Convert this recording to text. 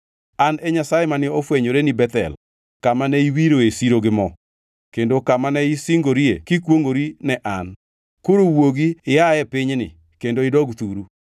An e Nyasaye mane ofwenyoreni Bethel kamane iwiroe siro gi mo kendo kama ne isingori kikwongʼori ne an. Koro wuogi ia e pinyni kendo idog thuru.’ ”